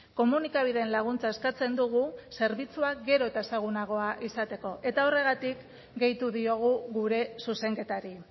komunikabideen laguntza eskatzen dugu zerbitzua gero eta ezagunagoa izateko eta horregatik gehitu diogu gure zuzenketari